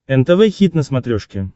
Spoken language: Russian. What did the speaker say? нтв хит на смотрешке